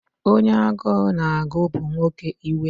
Onye agụụ na-agụ bụ nwoke iwe.